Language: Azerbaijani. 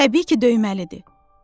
Təbii ki, döyməlidir.